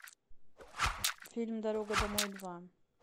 фильм дорога домой два